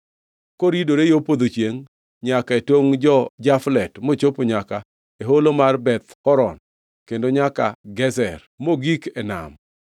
koridore yo podho chiengʼ nyaka e tongʼ jo-Jaflet mochopo nyaka e holo mar Beth Horon kendo nyaka Gezer, mogik e nam.